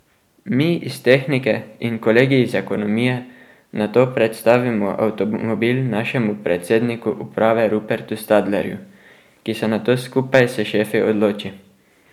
Mi iz tehnike in kolegi iz ekonomije nato predstavimo avtomobil našemu predsedniku uprave Rupertu Stadlerju, ki se nato skupaj s šefi odloči.